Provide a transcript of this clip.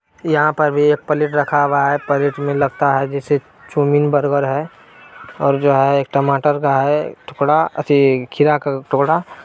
यहाँ पर भी एक प्लेट रखा हुआ है प्लेट में लगता है जैसे चौमिन बर्गर है और जो है एक टमाटर का है टुकड़ा खीरा का टुकड़ा।